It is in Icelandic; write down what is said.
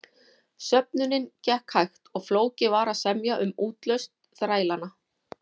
Söfnunin gekk hægt og flókið var að semja um útlausn þrælanna.